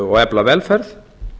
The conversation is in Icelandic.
og efla velferð